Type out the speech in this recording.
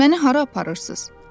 Məni hara aparırsınız?